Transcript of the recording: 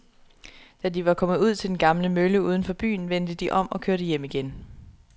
Da de var kommet ud til den gamle mølle uden for byen, vendte de om og kørte hjem igen.